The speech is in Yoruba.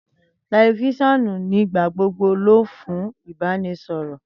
tẹlifoonu ni igbagbogbo lo fun ibaraẹnisọrọ.